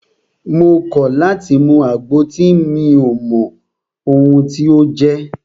Mo kọ̀ láti mú àgbo tí mi ò mọ ohun tí o jẹ́!